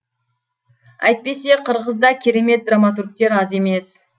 әйтпесе қырғызда керемет драматургтер аз емес